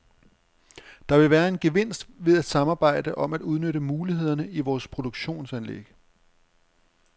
Der vil være en gevinst ved at samarbejde om at udnytte mulighederne i vores produktionsanlæg.